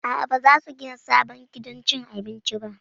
A'a, ba za su gina sabon gidan cin abinci ba